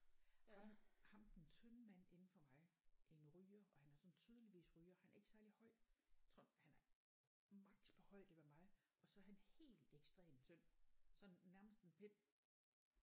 Ham ham den tynde mand inde fra mig en ryger og han er sådan tydeligvis ryger han er ikke særlig høj tror han er maks på højde med mig og så er han helt ekstremt tynd sådan nærmest en pind